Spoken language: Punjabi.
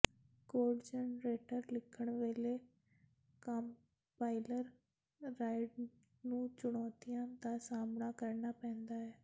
ਕੋਡ ਜਰਨੇਟਰ ਲਿਖਣ ਵੇਲੇ ਕੰਪਾਈਲਰ ਰਾਇਡਰ ਨੂੰ ਚੁਣੌਤੀਆਂ ਦਾ ਸਾਹਮਣਾ ਕਰਨਾ ਪੈਂਦਾ ਹੈ